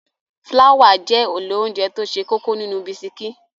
Fláwà jẹ́ èlò óńjẹ tó ṣe kókó nínú bisikí.